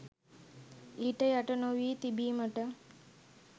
ඊට යට නොවී තිබීමට